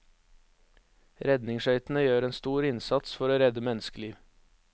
Redningsskøytene gjør en stor innsats for å redde menneskeliv.